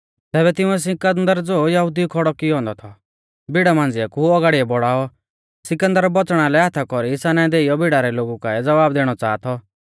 तैबै तिंउऐ सिकन्दर ज़ो यहुदिउऐ खौड़ौ थौ कियौ औन्दौ भिड़ा मांझ़िया कु औगाड़िऐ बौड़ाऔ सिकन्दर बौच़णा लै हाथा कौरी साना देइयौ भिड़ा रै लोगु काऐ ज़वाब दैणौ च़ाहा थौ